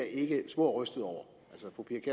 ikke spor rystet over